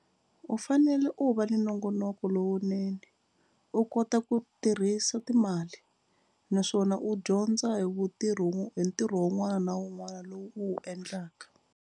U fanele u va ni nongonoko lowunene u kota ku tirhisa timali naswona u dyondza hi vutirhi hi ntirho wun'wana na wun'wana lowu u wu endlaka.